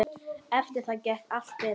Eftir það gekk allt betur.